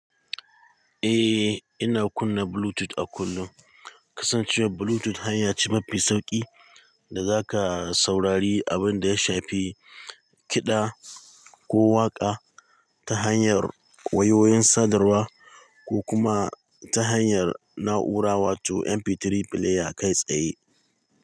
Eh, ina kunna Bluetooth a kullum. Kasancewar Bluetooth hanya ce mafi sauƙi da zaka saurari abin da ya shafi kiɗa ko waƙa ta hanyar wayoyin sadarwa ko kuma ta hanyar na'ura wato MP3 player kai tsaye.